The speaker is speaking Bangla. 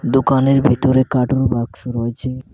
দোকানের ভিতরে কাটুর বাক্স রয়েছে।